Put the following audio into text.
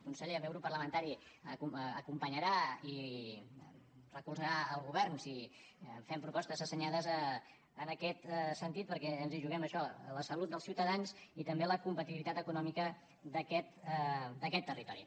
conseller el meu grup parlamentari acompanyarà i recolzarà el govern si fem propostes assenyades en aquest sentit perquè ens hi juguem això la salut dels ciutadans i també la competitivitat econòmica d’aquest territori